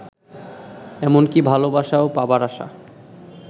এমনকি ভালবাসাও পাবার আশা